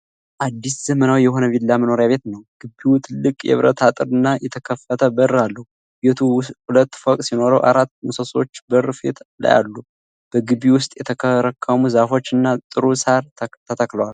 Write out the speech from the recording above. አዲስ ዘመናዊ የሆነ ቪላ መኖሪያ ቤት ነው። ግቢው ትልቅ የብረት አጥር እና የተከፈተ በር አለው። ቤቱ ሁለት ፎቅ ሲኖረው አራት ምሰሶዎች በር ፊት ላይ አሉ። በግቢው ውስጥ የተከረከሙ ዛፎች እና ጥሩ ሣር ተተክለዋል።